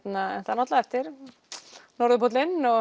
náttúrulega eftir